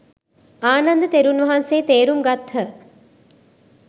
ආනන්ද තෙරුන් වහන්සේ තේරුම් ගත්හ.